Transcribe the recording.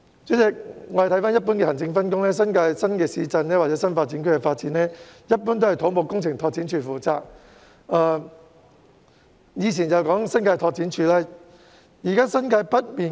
主席，按一般的行政分工，新界新市鎮或新發展區的發展均由土木工程拓展署負責，以前則由新界拓展署負責。